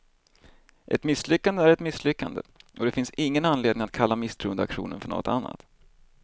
Ett misslyckande är ett misslyckande, och det finns ingen anledning att kalla misstroendeaktionen för något annat.